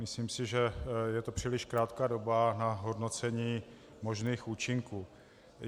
Myslím si, že je to příliš krátká doba na hodnocení možných účinků.